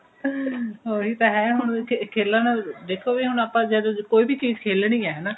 ਉਹੀ ਤਾਂ ਹੈ ਹੁਣ ਖੇਲਣ ਦਾ ਦੇਖੋਗੇ ਜੇ ਆਪਾਂ ਕੋਈ ਵੀ ਚੀਜ ਖੇਲਣੀ ਹੈ ਹਨਾ